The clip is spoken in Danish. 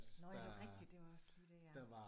Nåh ja det er rigtigt det var også lige det ja